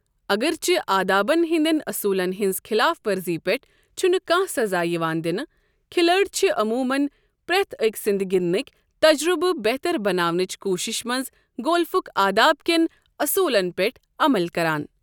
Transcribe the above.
اگرچہ آدابَن ہٕنٛدٮ۪ن اصولن ہٕنٛز خلاف ورزی پٮ۪ٹھ چھنہٕ کانہہ سزا یوان دِنہٕ، کھلٲڑۍ چھ عمومن پرٛٮ۪تھ أکۍ سٕنٛدِ گِنٛدٕنٕکۍ تجربہٕ بہتر بناونٕچ کوششہِ منٛز گولفک آداب کٮ۪ن اصولن پٮ۪ٹھ عمل کران۔